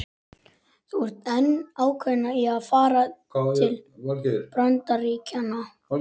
Þú ert enn ákveðin í að fara til Bandaríkjanna?